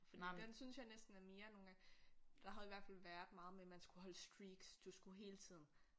Fordi den synes jeg næsten er mere nogle gange der havde i hvert fald været meget med man skulle holde streaks du skulle hele tiden